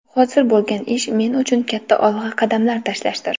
Hozir bo‘lgan ish men uchun katta olg‘a qadam tashlashdir”.